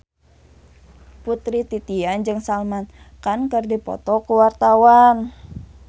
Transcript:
Putri Titian jeung Salman Khan keur dipoto ku wartawan